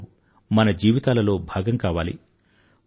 ఆటలు మన జీవితాలలో భాగం కావాలి